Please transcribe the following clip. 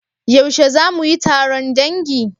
Yaushe za mu yi taron dangi?